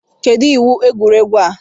Kedụ iwu egwuregwu a?